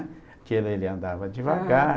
Porque ele ele andava devagar.